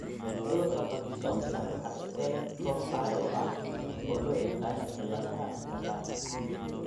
Cudurka Parkinsonka waxaa iska leh koox xaalado ah oo loo yaqaan cilladaha dhaqdhaqaaqa.